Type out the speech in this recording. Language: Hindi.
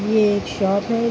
ये एक शॉप है।